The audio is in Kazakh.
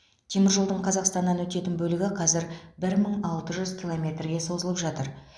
теміржолдың қазақстаннан өтетін бөлігі қазір бір мың алты жүз километрге созылып жатыр